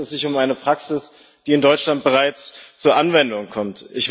Schließlich handelt es sich um eine Praxis, die in Deutschland bereits zur Anwendung kommt.